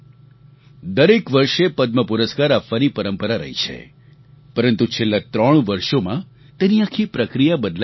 દરેક વર્ષે પદ્મ પુરસ્કાર આપવાની પરંપરા રહી છે પરંતુ છેલ્લા ત્રણ વર્ષોમાં તેની આખી પ્રક્રિયા બદલાઈ ગઈ છે